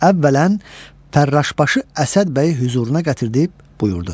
Əvvələn, fərraşbaşı Əsəd bəyi hüzuruna gətirib buyurdu: